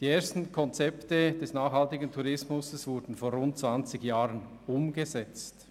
Die ersten Konzepte des nachhaltigen Tourismus wurden vor rund zwanzig Jahren umgesetzt.